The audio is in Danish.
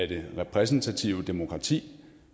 det repræsentative demokrati